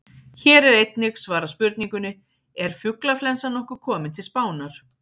Hér er einnig svarað spurningunni: Er fuglaflensan nokkuð komin til Spánar?